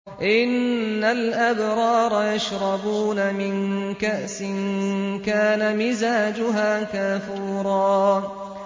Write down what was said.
إِنَّ الْأَبْرَارَ يَشْرَبُونَ مِن كَأْسٍ كَانَ مِزَاجُهَا كَافُورًا